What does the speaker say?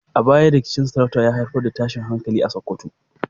A baya, rikicin sarauta ya haifar da tashin hankali a Sakkwato.